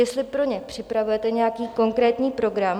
Jestli pro ně připravujete nějaký konkrétní program?